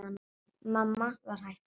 Mamma var hætt að vinna.